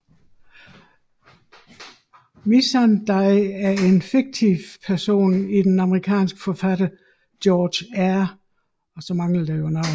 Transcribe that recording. Missandei er en fiktiv person i den amerikanske forfatter George R